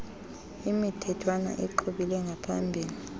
imithethwana iqhubile ngaphambile